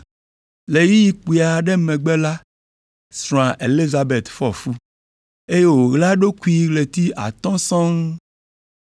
Le ɣeyiɣi kpui aɖe megbe la srɔ̃a Elizabet fɔ fu, eye wòɣla eɖokui ɣleti atɔ̃ sɔŋ.